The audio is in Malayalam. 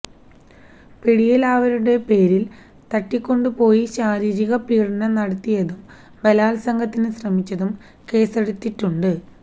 പിടിയിലായവരുടെ പേരിൽ തട്ടിക്കൊണ്ടുപോയി ശാരീരിക പീഡനം നടത്തിയതിനും ബാലാത്സംഗത്തിന് ശ്രമിച്ചതിനും കേസെടുത്തിട്ടുണ്ട്